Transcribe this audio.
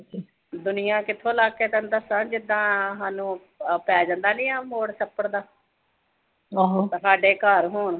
ਦੁਨੀਆਂ ਕਿੱਥੋਂ ਲੱਗ ਕੇ ਤੈਨੂੰ ਦੱਸਾਂ ਜਿੱਦਾਂ ਸਾਨੂੰ ਪੈ ਜਾਂਦਾ ਨੀਂ ਉਹ ਮੋੜ ਸੱਤਰ ਦਾ ਸਾਡੇ ਘਰ ਹੋਣ